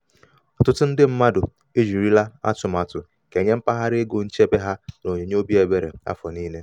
ọtụtụ ndị mmadụ e jirila atụmatụ kenye mpaghara ego um nchebe ha n'onyinye obi ebere afọ niile.